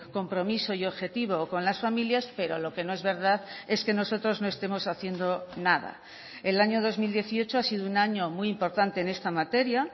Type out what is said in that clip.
compromiso y objetivo con las familias pero lo que no es verdad es que nosotros no estemos haciendo nada el año dos mil dieciocho ha sido un año muy importante en esta materia